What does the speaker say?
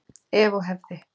Ef og hefði.